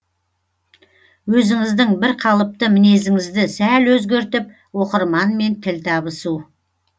өзіңіздің бірқалыпты мінезіңізді сәл өзгертіп оқырманмен тіл табысу